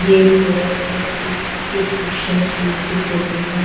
ये एक गोरखपुर की एक क्रिश्चन स्कुल की फोटो है।